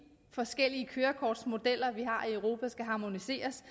forskellige kørekortsmodeller vi har i europa skal harmoniseres